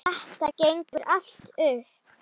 Þetta gengur allt upp.